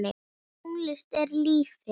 Tónlist er lífið!